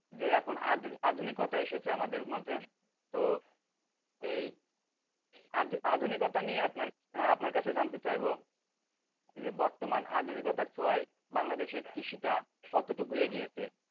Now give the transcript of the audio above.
যে এখন আধুনিকতা এসেছে আমাদের মাঝে তো এই আধুনিকতা নিয়ে আপনার কাছে জানতে চাইবো যে বর্তমান আধুনিকতার ছোঁয়ায় বাংলাদেশের কৃষিটা কতটুকু এগিয়েছে?